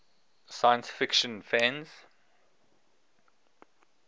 science fiction fans